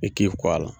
I k'i kɔ a la